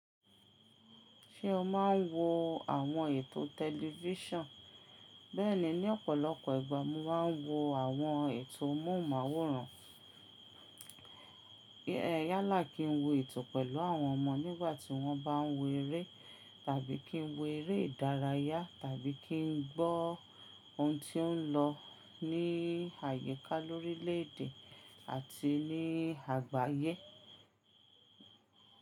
Ṣé o máa ń wo àwọn ètò tẹlifíṣàn? Bẹ́ẹ̀ni, ní ọ̀pọ̀lọpọ̀ ìgbà mo máa ń wo àwọn ètò móhùnmáwòrán. Yala kí n wo ètò pẹ̀lú àwọn ọmọ nígbàtí wọ́n bá ń wo eré tàbí kí n wo eré ìdárayá tàbí kí n gbọ́ ohun tí ó ń lọ ní àyíká lórílèèdè àti ní àgbáyé.